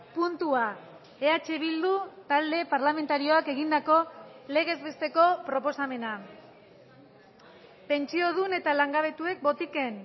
puntua eh bildu talde parlamentarioak egindako legez besteko proposamena pentsiodun eta langabetuek botiken